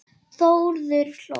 Þórður hló.